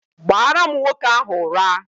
Gbara m nwoke ahu ura!